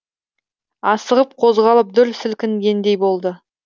асығып қозғалып дүр сілкінгендей болды